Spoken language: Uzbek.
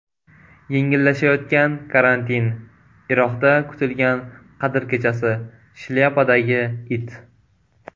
Yengillashayotgan karantin, Iroqda kutilgan Qadr kechasi, shlyapadagi it.